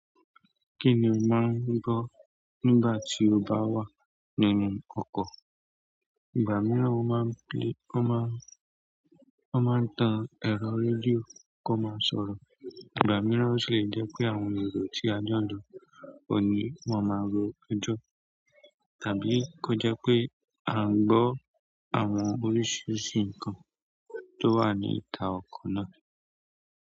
Kí ni o máa ń gbọ́ nígbà tí o bá wà nínú ọkọ̀? Ìgbà mìíràn o máa ń play, ó máa ń, ó máa ń tan ẹ̀rọ rédíò kó máa sọ̀rọ̀. Ìgbà mìíràn ó sì le jẹ́ pé àwọn èrò tí a jọ ń lọ oun ni wón máa ro ejọ́. Tàbí kó jẹ́ pé à ń gbọ́ àwọn oríṣiríṣi nǹkan tó wà ní ìta ọkọ̀ náà.